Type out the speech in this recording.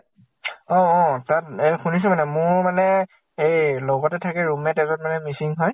অ অ তাত নে শুনিছো মানে। মোৰ মানে এই লগতে থাকে room mate এজন মানে মিছিং হয়।